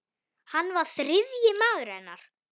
Hann var þriðji maður hennar.